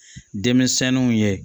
Denmisɛnninw ye